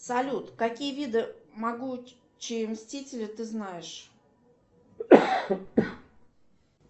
салют какие виды могучие мстители ты знаешь